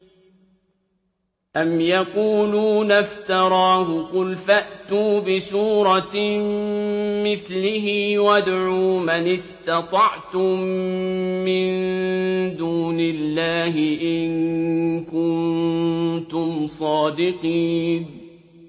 أَمْ يَقُولُونَ افْتَرَاهُ ۖ قُلْ فَأْتُوا بِسُورَةٍ مِّثْلِهِ وَادْعُوا مَنِ اسْتَطَعْتُم مِّن دُونِ اللَّهِ إِن كُنتُمْ صَادِقِينَ